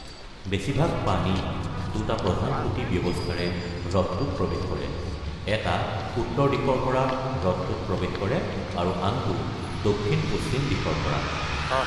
বেছিভাগ পানী দুটা প্ৰধান সুঁতি ব্যৱস্থাৰে হ্ৰদটোত প্ৰৱেশ কৰে, এটা উত্তৰ দিশৰ পৰা হ্ৰদটোত প্ৰৱেশ কৰে আৰু আনটো দক্ষিণ-পশ্চিম দিশৰ পৰা।